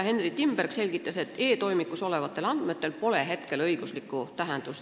Henry Timberg selgitas, et e-toimikus olevatel andmetel pole praegu õiguslikku tähendust.